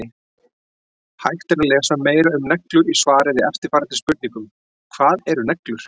Hægt er að lesa meira um neglur í svari við eftirfarandi spurningum: Hvað eru neglur?